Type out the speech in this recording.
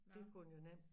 Dte kunne den jo nemt